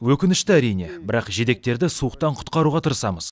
өкінішті әрине бірақ жидектерді суықтан құтқаруға тырысамыз